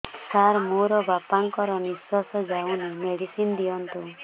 ସାର ମୋର ବାପା ଙ୍କର ନିଃଶ୍ବାସ ଯାଉନି ମେଡିସିନ ଦିଅନ୍ତୁ